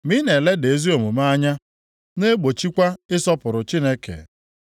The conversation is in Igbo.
Ma ị na-eleda ezi omume anya na-egbochikwa ịsọpụrụ Chineke.